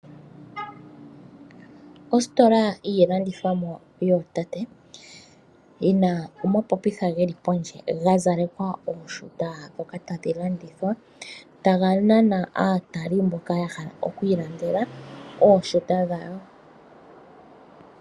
Ostola yiilandithomwa yootate, yina omapopitha geli pondje ga zalekwa ooshuta dhoka tadhi landithwa ,ta ga nana aatali mboka ya hala okwiilandela ooshuta dhawo.